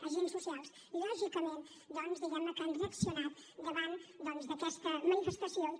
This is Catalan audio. agents socials lògicament diguem ne que han reaccionat davant doncs d’aquesta manifestació i que